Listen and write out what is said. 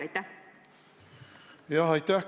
Jah, aitäh!